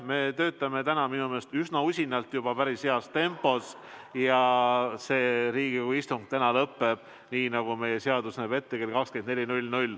Me töötame täna minu meelest üsna usinalt juba päris heas tempos ja see Riigikogu istung lõppeb, nii nagu meie seadus näeb ette, kell 24.